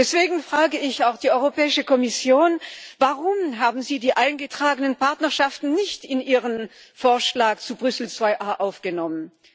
Deswegen frage ich auch die Europäische Kommission Warum haben Sie die eingetragenen Partnerschaften nicht in Ihren Vorschlag zu Brüssel II aufgenommen?